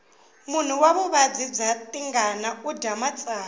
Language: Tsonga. munhu wa vuvabyi bya tingana udya matsavu